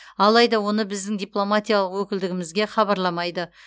алайда оны біздің дипломатиялық өкілдігімізге хабарламайды